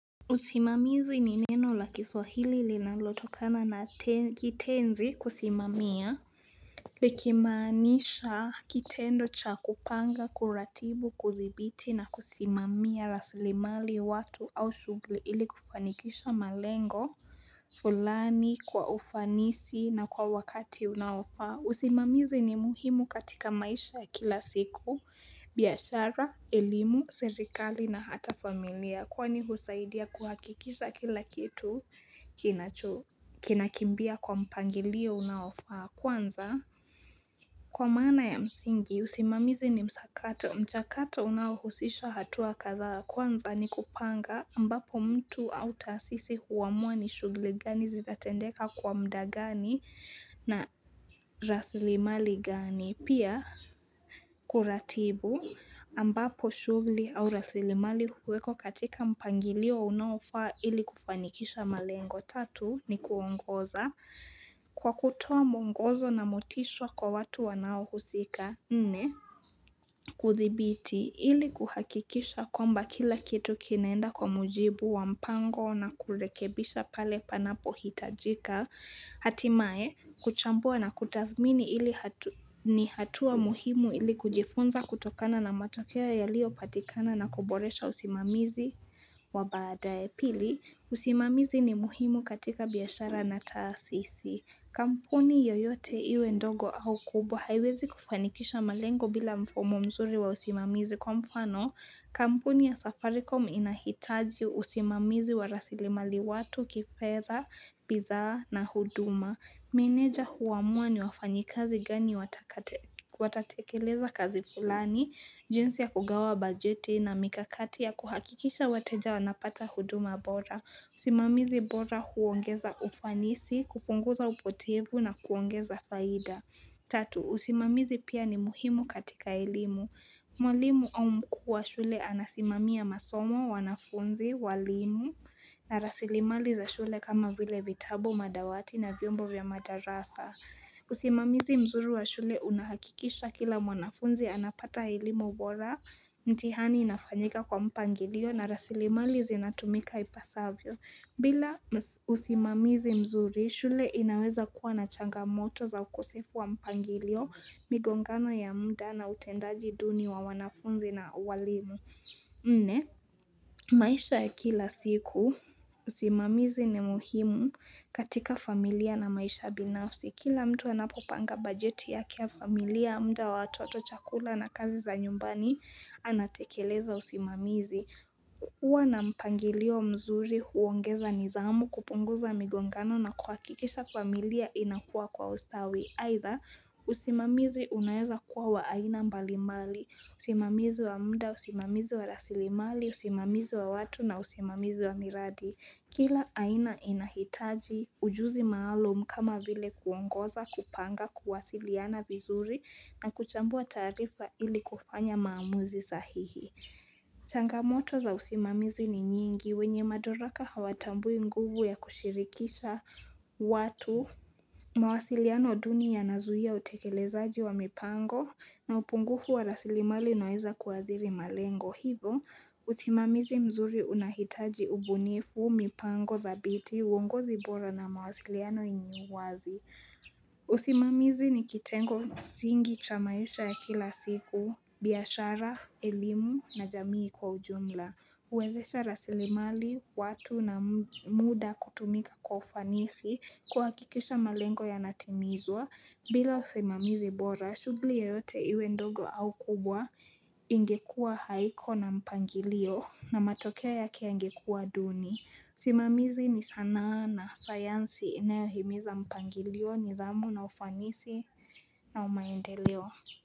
Usimamizi ni neno la kiswahili linalotokana na kitenzi kusimamia Likimaanisha kitendo cha kupanga, kuratibu, kuthibiti na kusimamia raslimali watu au shughuli ili kufanikisha malengo fulani kwa ufanisi na kwa wakati unaofaa usimamizi ni muhimu katika maisha ya kila siku biashara, elimu, serikali na hata familia Kwani husaidia kuhakikisha kila kitu kinakimbia kwa mpangilio unaofaa Kwanza kwa maana ya msingi usimamizi ni msakato mchakato unaohusisha hatua kadhaa Kwanza ni kupanga ambapo mtu au taasisi huamua ni shughuli gani zitatendeka kwa muda gani na raslimali gani. Pia kuratibu ambapo shughuli au raslimali huwekwa katika mpangilio unaofaa ili kufanikisha malengo. Tatu ni kuongoza kwa kutoa mwongozo na motisha kwa watu wanaohusika. Nne, kuthibiti ili kuhakikisha kwamba kila kitu kinaenda kwa mujibu wa mpango na kurekebisha pale panapohitajika. Hatimaye, kuchambua na kutathmini ni hatua muhimu ili kujifunza kutokana na matokeo yaliyopatikana na kuboresha usimamizi wa baadaye. Pili, usimamizi ni muhimu katika biashara na taasisi. Kampuni yoyote iwe ndogo au kubwa haiwezi kufanikisha malengo bila mfumo mzuri wa usimamizi kwa mfano. Kampuni ya Safaricom inahitaji usimamizi wa raslimali watu kifedha, bidhaa na huduma. Meneja huamua ni wafanyikazi gani watatekeleza kazi fulani, jinsi ya kugawa bajeti na mikakati ya kuhakikisha wateja wanapata huduma bora. Usimamizi bora huongeza ufanisi, kupunguza upotevu na kuongeza faida. Tatu, usimamizi pia ni muhimu katika elimu. Mwalimu au mkuu wa shule anasimamia masomo, wanafunzi, walimu. Na rasilimali za shule kama vile vitabu madawati na vyombo vya madarasa. Usimamizi mzuri wa shule unahakikisha kila mwanafunzi anapata elimu bora mtihani inafanyika kwa mpangilio na rasilimali zinatumika ipasavyo. Bila usimamizi mzuri, shule inaweza kuwa na changamoto za ukosefu wa mpangilio migongano ya muda na utendaji duni wa wanafunzi na walimu. Nne, maisha ya kila siku, usimamizi ni muhimu katika familia na maisha binafsi. Kila mtu anapopanga bajeti yake ya familia muda wa watoto chakula na kazi za nyumbani anatekeleza usimamizi. Kukuwa na mpangilio mzuri huongeza nidhamu kupunguza migongano na kuhakikisha familia inakua kwa ustawi Aidha usimamizi unaweza kuwa wa aina mbalimali, usimamizi wa muda, usimamizi wa rasilimali, usimamizi wa watu na usimamizi wa miradi Kila aina inahitaji ujuzi maalum kama vile kuongoza kupanga kuwasiliana vizuri na kuchambua taarifa ili kufanya maamuzi sahihi Changamoto za usimamizi ni nyingi wenye madaraka hawatambui nguvu ya kushirikisha watu mawasiliano duni yanazuia utekelezaji wa mipango na upungufu wa rasilimali unaweza kuadhiri malengo Hivo, usimamizi mzuri unahitaji ubunifu, mipango, dhabiti, uongozi bora na mawasiliano yenye wazi usimamizi ni kitengo msingi cha maisha ya kila siku biashara, elimu na jamii kwa ujumla huwezesha rasilimali, watu na muda kutumika kwa ufanisi kuhakikisha malengo yanatimizwa bila usimamizi bora, shughuli yoyote iwe ndogo au kubwa ingekuwa haiko na mpangilio na matokea yake yangekuwa duni usimamizi ni sanaa na sayansi inayohimiza mpangilio nidhamu na ufanisi na maendeleo.